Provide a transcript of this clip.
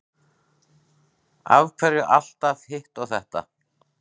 Af hverju alltaf hitt og þetta?